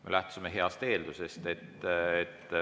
Me lähtusime heast eeldusest.